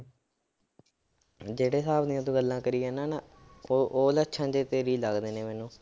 ਜਿਹੜੇ ਹਿਸਾਬ ਦੀਆਂ ਤੂੰ ਗੱਲਾਂ ਕਰੀ ਜਾਨਾ ਨਾਂ, ਉਹ ਉਹ ਲੱਛਣ ਜਿਹੇ ਤੇਰੇ ਹੀ ਲੱਗਦੇ ਨੇ ਮੈਨੂੰ।